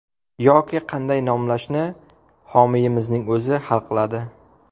Yoki qanday nomlashni homiyimizning o‘zi hal qiladi.